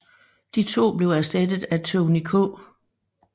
De to blev erstattet af Tonny K